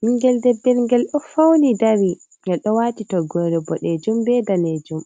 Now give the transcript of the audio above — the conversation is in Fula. Bingel debbel ngel do fauni dari. Ngel do wati toggore bodejum be ɗaneejum.